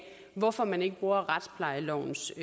hvorfor man ikke bruger retsplejelovens